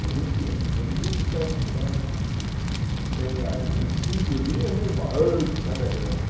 Hoje em dia, hoje em dia se pega um samba que tenha vinte e cinco linhas, âh esse samba é grande.